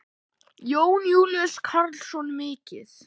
Jón Júlíus Karlsson: Mikið?